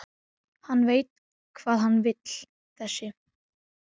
Hann veit hvað hann vill þessi!